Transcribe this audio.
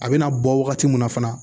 A bɛna bɔ wagati min na fana